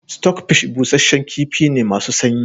Stockfish busasshen kifi ne masu sanyi